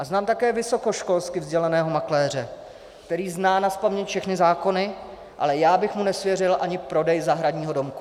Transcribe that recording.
A znám také vysokoškolsky vzdělaného makléře, který zná nazpaměť všechny zákony, ale já bych mu nesvěřil ani prodej zahradního domku.